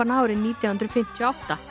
árið nítján hundruð fimmtíu og átta